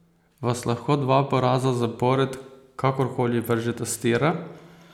Vas lahko dva poraza zapored kakor koli vržeta s tira?